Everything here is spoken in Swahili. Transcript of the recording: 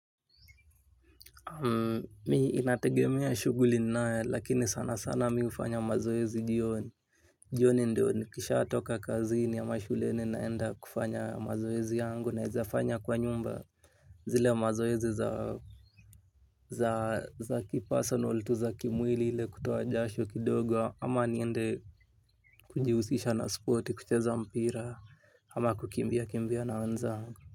Mi inategemea shughuli nnayo lakini sana sana mi ufanya mazoezi jioni. Jioni ndio nikishaa toka kazini ama shuleni naenda kufanya mazoezi yangu. Naezafanya kwa nyumba zile mazoezi za kipersonal tu za kimwili ile kutua jasho kidogo. Ama niende kujiusisha na sporti kucheza mpira ama kukimbia kimbia naanza.